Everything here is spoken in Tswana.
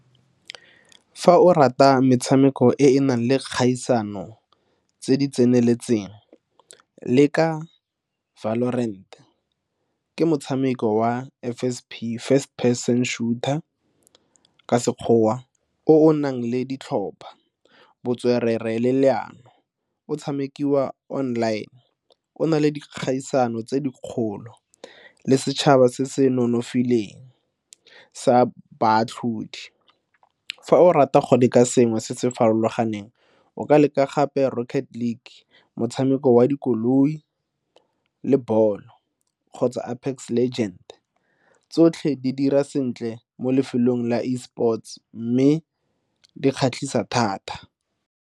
Fa o rata metshameko e e nang le kgaisano tse di tseneletseng leka ke motshameko wa F_S_P first person shooter ka Sekgowa o o nang le ditlhopha, botswerere le leano. O tshamekiwa online, o na le dikgaisano tse dikgolo le setšhaba se se nonofileng sa baatlhodi. Fa o rata gone ka sengwe se se farologaneng o ka leka gape motshameko wa dikoloi le bolo kgotsa tsotlhe di dira sentle mo lefelong la E sports mme di kgatlhisa thata.